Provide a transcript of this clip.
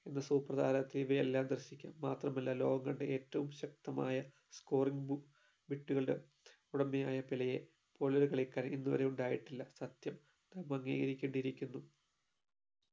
എന്ന super താരത്തിൽ ഇവയെല്ലാം ദർശിക്കാം മാത്രമല്ല ലോകം കണ്ട ഏറ്റവും ശക്തമായ scoring ബൂ ഇട്ടുകളുടെ ഉടമയായ പെലെയെ പോലെയൊരു കളിക്കാരൻ ഇന്നുവരെ ഉണ്ടായിട്ടില്ല സത്യം നാം അംഗീകരിക്കേണ്ടിയിരിക്കുന്നു